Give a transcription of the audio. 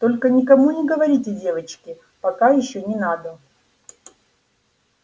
только никому не говорите девочки пока ещё не надо